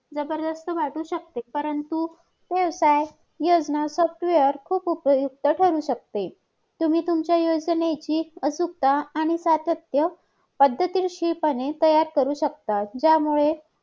काहीजण लोकांचे असे मत आहे की की भारताच्या लोकसंख्येचा वेग कमी झालेला आहे आणि हळूहळू तो लोकसंख्येच्या लोकसंख्येच्या ब एकदम